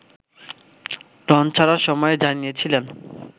launch ছাড়ার সময় জানিয়েছিলেন